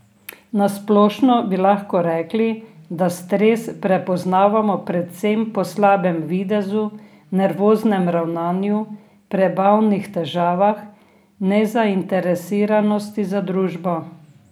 Na splošno bi lahko rekli, da stres prepoznamo predvsem po slabem videzu, nervoznem ravnanju, prebavnih težavah, nezainteresiranosti za družbo.